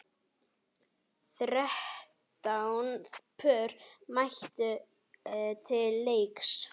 Þrettán pör mættu til leiks.